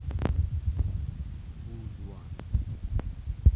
у два